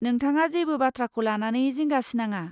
नोंथाङा जेबो बाथ्राखौ लानानै जिंगासिनाङा।